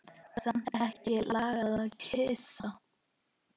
Samt ekki langað að kyssa.